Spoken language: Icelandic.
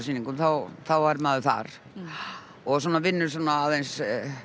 jólasýningum þá er maður þar og vinnur svona aðeins